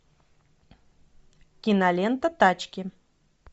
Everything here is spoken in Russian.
кинолента тачки